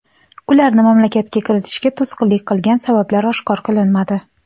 Ularni mamlakatga kiritishga to‘sqinlik qilgan sabablar oshkor qilinmadi.